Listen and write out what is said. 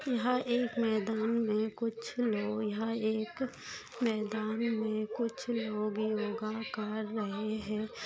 यहा एक मैदान में कुछ लोग यहा एक मैदान में कुछ लोग योगा कर रहे है।